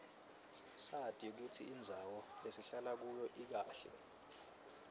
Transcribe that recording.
sati kutsi indzawo lesihlala kuyo ikahle